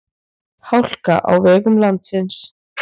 Hálka á vegum landsins